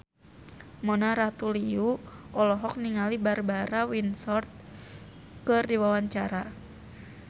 Mona Ratuliu olohok ningali Barbara Windsor keur diwawancara